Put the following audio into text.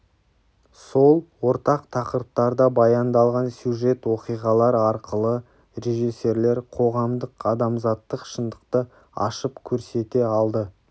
сол ортақ тақырыптарда баяндалған сюжет-оқиғалар арқылы режиссерлер қоғамдық-адамзаттық шындықты ашып көрсете алды